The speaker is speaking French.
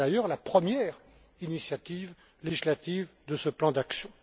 C'est d'ailleurs la première initiative législative de ce plan d'action.